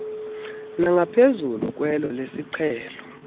nangaphezulu kwelo lesiqhelo